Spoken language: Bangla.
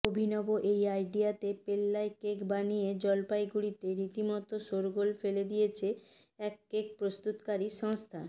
অভিনব এই আইডিয়াতে পেল্লায় কেক বানিয়ে জলপাইগুড়িতে রীতিমতো শোরগোল ফেলে দিয়েছে এক কেক প্রস্তুতকারী সংস্থা